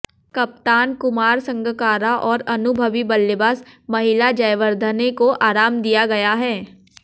कप्तान कुमार संगकारा और अनुभवी बल्लेबाज महेला जयवर्धने को आराम दिया गया है